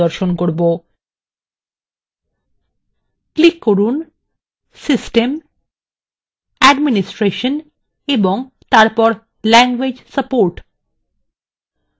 click করুন system administration এবং language support